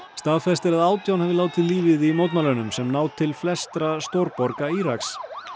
staðfest er að átján hafi látið lífið í mótmælunum sem ná til flestra stórborga Íraks